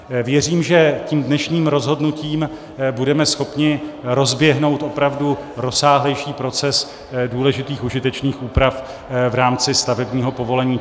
Věřím, že tím dnešním rozhodnutím budeme schopni rozběhnout opravdu rozsáhlejší proces důležitých užitečných úprav v rámci stavebního povolení.